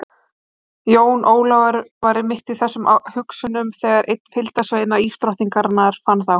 Jón Ólafur var mitt í þessum hugsunum þegar einn fylgdarsveina ísdrottningarinar fann þá.